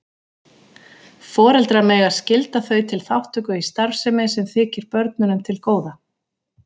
Foreldrar mega skylda þau til þátttöku í starfsemi sem þykir börnunum til góða.